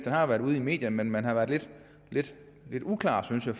har været ude i medierne men man har været lidt uklar synes jeg